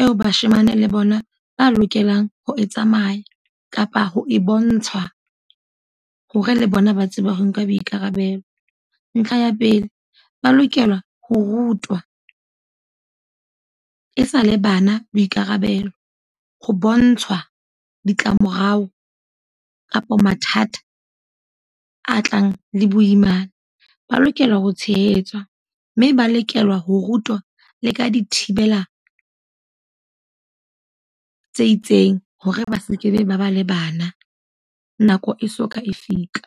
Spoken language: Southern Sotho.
eo bashemane le bona ba lokelang ho e tsamaya kapa ho e bontshwa. Hore le bona ba tsebe ho nka boikarabelo. Ntlha ya pele, ba lokelwa ho rutwa e sale bana boikarabelo. Ho bontshwa ditlamorao kapa mathata a tlang le boimana. Ba lokela ho tshehetswa mme ba lokelwa ho rutwa le ka di thibela tse itseng hore ba sekebe ba ba le bana. Nako e soka e fihla.